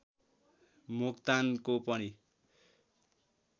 मोक्तानको पनि